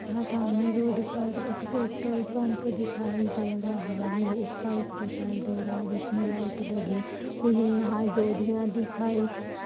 यहाँ सामने रोड पर एक पेट्रोल पम्प दिखाई दे रहा है एक पाइप दिखाई दे रहा है जिसमे लाईट लगी हुई है यहाँ डोरियाँ दिखाई